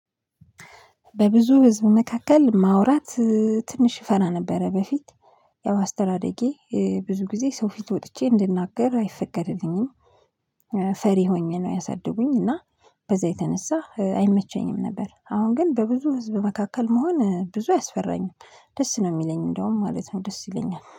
በብዙ ህዝብ መካከል ማውራት ትንሽ ፈራ ነበረ። በፊት ያው አስተዳደጌ ብዙ ጊዜ ሰው ፊት ወጥቼ እንድናገር አይፈቀድልኝም። ፈሪ ሆኜ ነው ያሳድጉኝ እና በዛ የተነሳ አይመቸኝም ነበር። አሁን ግን በብዙ ህዝብ መካከል መሆን ብዙ አያስፈራኝም። ደስ ነው የሚለኝ እንደውም ማለት ነው። ደስ ይለኛል